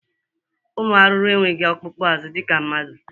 Ụmụ arụrụ enweghi ọkpụkpụ azụ dịka mmadụ.